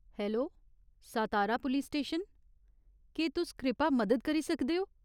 Hello, Satara police station, केह् तुस कृपा मदद करी सकदे ओ ?